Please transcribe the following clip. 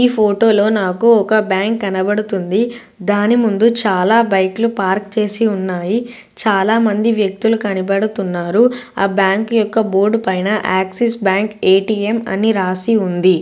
ఈ ఫోటో లో నాకు ఒక బ్యాంక్ కనబడుతుంది దాని ముందు చాలా బైకలు పార్క్ చేసి ఉన్నాయి చాలా మంది వ్యక్తులు కనబడుతున్నారు ఆ బ్యాంక్ ఒక బోర్డు పైన ఆక్సిస్ బ్యాంక్ ఏ_టి_ఎం అని రాసి ఉంది.